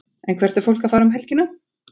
En hvert er fólk að fara um helgina?